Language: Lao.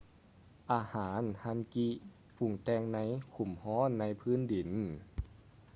ອາຫານ hangi ປຸງແຕ່ງໃນຂຸມຮ້ອນໃນພື້ນດິນ